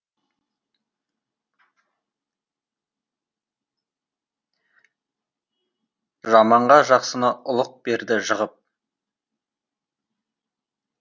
жаманға жақсыны ұлық берді жығып